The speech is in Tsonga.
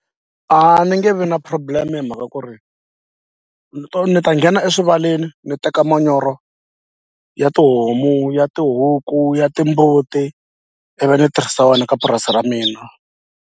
A ni nge vi na problem hi mhaka ku ri ni to ni ta nghena eswivaleni ni teka manyoro ya tihomu ya tihuku ya timbuti ivi ni tirhisa wena ka purasi ra mina.